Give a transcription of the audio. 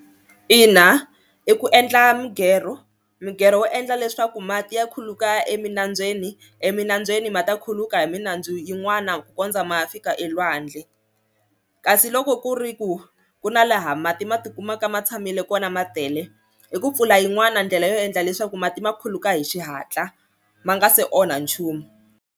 Ina i ku endla migero migero wo endla leswaku mati ya khuluka eminambyeni eminambyeni ma ta khuluka hi minandzu yin'wana ku kondza ma fika elwandle, kasi loko ku ri ku ku na laha mati ma tikumaka ma tshamile kona ma tele i ku pfula yin'wani ndlela yo endla leswaku mati ma khuluka hi xihatla ma nga se onha nchumu.